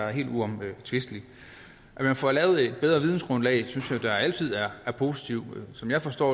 er helt uomtvisteligt at man får lavet et bedre vidensgrundlag synes jeg da altid er positivt som jeg forstår